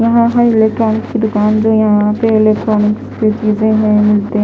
है इलेक्ट्रॉनिक्स की दुकान जो यहां पे इलेक्ट्रॉनिक्स की चीजें हैंमिलते --